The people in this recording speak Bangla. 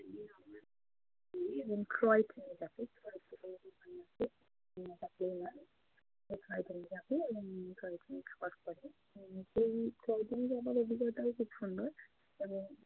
এবং সেই যাওয়ার অভিজ্ঞতাও খুব সুন্দর।